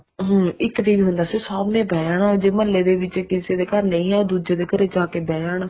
ਹਮ ਇੱਕ TV ਹੁੰਦਾ ਸੀ ਸਭ ਨੇ ਜਾਣਾ ਜੇ ਮਹੱਲੇ ਦੇ ਵਿੱਚ ਕਿਸੇ ਦੇ ਘਰ ਨਹੀਂ ਹੈ ਤਾਂ ਦੂਜੇ ਦੇ ਘਰ ਜਾ ਕੇ ਬੈਠ ਜਾਣਾ